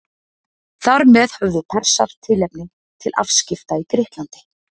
þar með höfðu persar tilefni til afskipta í grikklandi